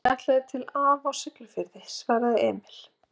Ég ætlaði til afa á Ólafsfirði, svaraði Emil.